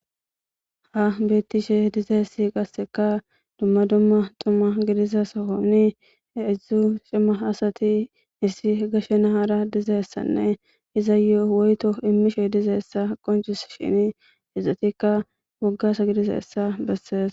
ha bettishe dizaessi qasseka dumma dumma tuma gidiza sohoni idzdzu cimma asati issi gashe nahara dizeyssanne iza yo7o woyto immishe dizeessa qoncus shini izzatikka woggasa gidiza essa bessees